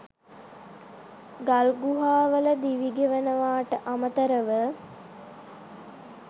ගල් ගුහා වල දිවි ගෙවනවාට අමතරව